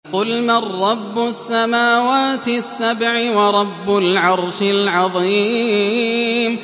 قُلْ مَن رَّبُّ السَّمَاوَاتِ السَّبْعِ وَرَبُّ الْعَرْشِ الْعَظِيمِ